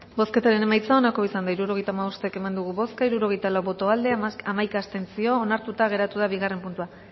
bozketaren emaitza onako izan da hirurogeita hamabost eman dugu bozka hirurogeita lau boto aldekoa hamaika abstentzio beraz onartuta geratu da bigarren puntua